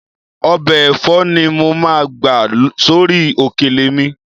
Ọbẹ̀ ẹ̀fọ́ ni mo máa gbà sórí òkèlè mi